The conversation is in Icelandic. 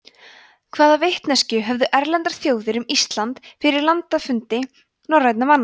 hvaða vitneskju höfðu erlendar þjóðir um ísland fyrir landafundi norrænna manna